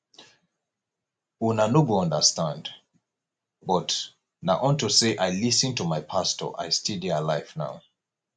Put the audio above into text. una no go understand but na unto say i lis ten to my pastor i still dey alive now